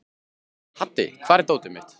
Haddi, hvar er dótið mitt?